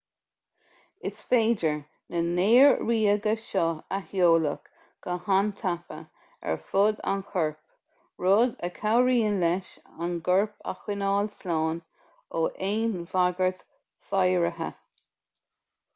is féidir na néar-ríoga seo a sheoladh go han-tapa ar fud an choirp rud a chabhraíonn leis an gcorp a choinneáil slán ó aon bhagairt fhéideartha